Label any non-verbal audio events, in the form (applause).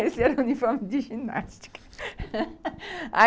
Esse era o uniforme de ginástica. (laughs)